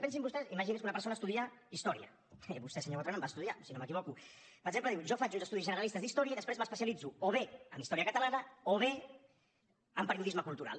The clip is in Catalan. pensin vostès imaginin se que una persona estudia història i vostè senyor botran en va estudiar si no m’equivoco per exemple diu jo faig uns estudis generalistes d’història i després m’especialitzo o bé en història catalana o bé en periodisme cultural